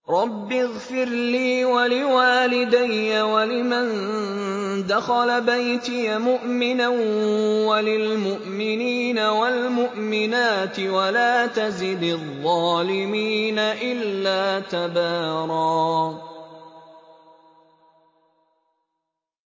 رَّبِّ اغْفِرْ لِي وَلِوَالِدَيَّ وَلِمَن دَخَلَ بَيْتِيَ مُؤْمِنًا وَلِلْمُؤْمِنِينَ وَالْمُؤْمِنَاتِ وَلَا تَزِدِ الظَّالِمِينَ إِلَّا تَبَارًا